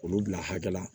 Olu bila hakɛ la